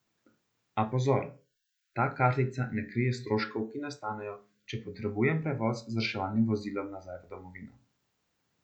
A, pozor, ta kartica ne krije stroškov, ki nastanejo, če potrebujem prevoz z reševalnim vozilom nazaj v svojo domovino.